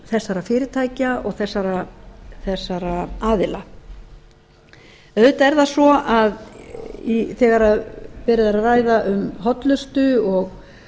þessara fyrirtækja og þessara aðila auðvitað er það svo þegar verið er að ræða um hollustu